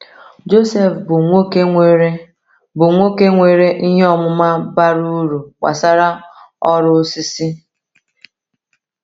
Joseph bụ nwoke nwere bụ nwoke nwere ihe ọmụma bara uru gbasara ọrụ osisi.